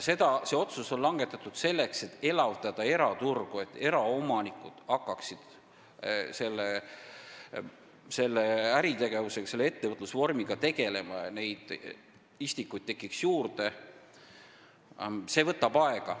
See otsus langetati eraturu elavdamiseks, selleks et eraomanikud hakkaksid selle äritegevusega, ettevõtlusvormiga tegelema ja istikuid tekiks juurde.